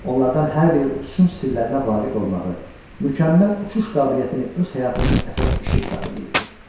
Onlardan hər biri uçuşun sirlərinə vaqif olmağı, mükəmməl uçuş qabiliyyətini öz həyatının əsas işi hesab eləyirdi.